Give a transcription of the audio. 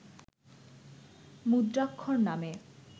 মুদ্রাক্ষর নামে